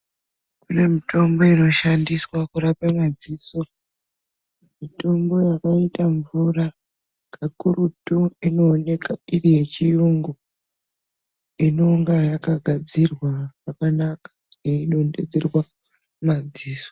Kune mitombo inoshandiswa kurape madziso. Mitombo yakaita mvura kakurutu inooneka iri yechiyungu. Inonga yakagadzirwa zvakanaka yeidonhedzerwa madziso.